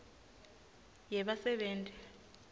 yebasebenti